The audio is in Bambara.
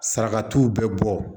Saraka t'u bɛɛ bɔ